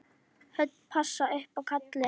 Hödd: Passa upp á kallinn?